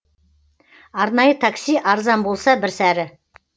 арнайы такси арзан болса бір сәрі